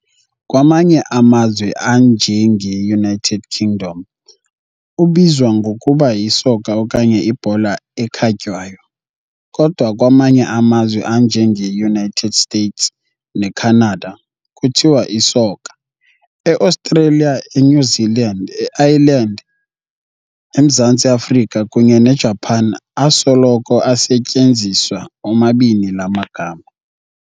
Kwamanye amazwe, anje ngeUnited Kingdom, ubizwa ngokuba yisoka okanye ibhola ekhatywayo, kodwa kwamanye amazwe, anje ngeUnited States neCanada, kuthiwa isoka. EAustralia, eNew Zealand, Ireland, eMzantsi Afrika, kunye neJapan, asoloko esetyenziswa omabini laa magama.